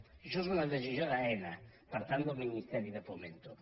i això és una decisió d’aena per tant del ministerio de fomento